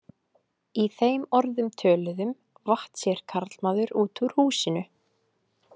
Í þeim orðum töluðum vatt sér karlmaður út úr húsinu.